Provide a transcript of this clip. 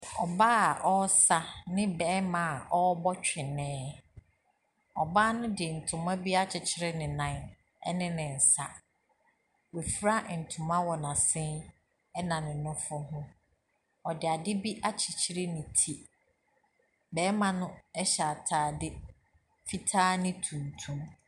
Ɔbaa a ɔresa ne ɔbarima a ɔrebɔ twene. Ɔbaa no de ntoma bi akyere ne nan ne nsa. Wafura ntoma wɔ n'asen ne ne nofo ho. Ɔde ade bi akyekyere ne ti.